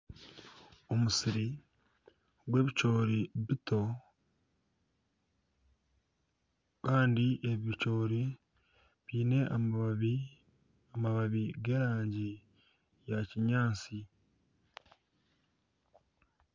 Omusiri gw'ebicoori bito kandi ebi bicoori biine amababi. Amababi g'erangi ya kinyaatsi.